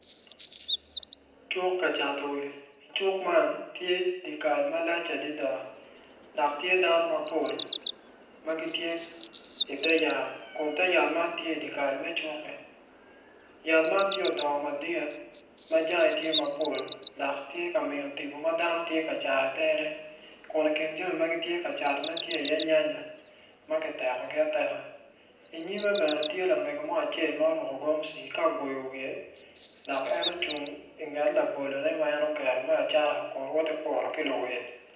Cuk ka cato will cuk man tye dye kal malac adada dok tye dano mapol dok i cuk man tye yat, yat man odongo madit adada ma jange tye dok tye ka miyo tipo botdano.